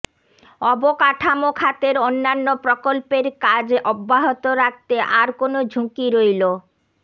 অবকাঠামো খাতের অন্যান্য প্রকল্পের কাজ অব্যাহত রাখতে আর কোনো ঝুঁকি রইল